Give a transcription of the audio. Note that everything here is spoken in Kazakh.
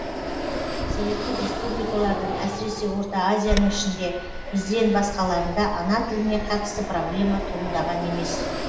советтік республикалардың әсіресе орта азияның ішінде бізден басқаларында ана тіліне қатысты проблема туындаған емес